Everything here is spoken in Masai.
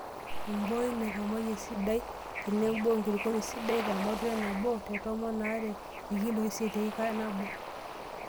Emboi naikomaayie esidai tenebo enkulukuoni sidai tematua e nabo te tomon naa ilkiloi isiet teika nabo.